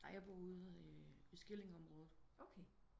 Nej jeg bor ude i Skillinge området